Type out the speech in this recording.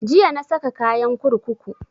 Jiya na saka kayan kurkuku